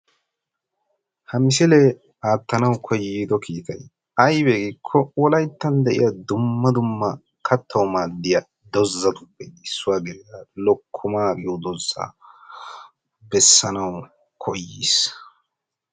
Ha misilee aattanawu koyddo kiitay aybee giikko wolaytta de'iya dumma dumma kattawu maaddiya dozzatuppe issuwa gidida lokkomaa giyo dozzaa bessanawu koyyiis.